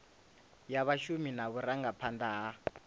ya vhashumi na vhurangaphanda ha